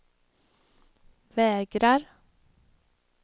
vägrar